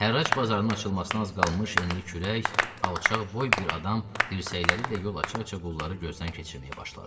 Hərrac bazarının açılmasına az qalmış enli kürək, alçaq boy bir adam dirsəkləri ilə yol aça-aça qulları gözdən keçirməyə başladı.